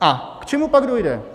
A k čemu pak dojde?